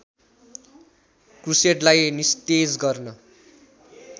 क्रुसेडलाई निस्तेज गर्न